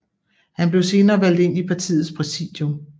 Han blev senere valgt ind i partiets præsidium